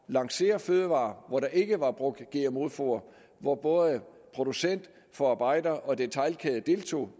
lancere fødevarer hvor der ikke var brugt gmo foder og hvor både producent forarbejder og detailkæde deltog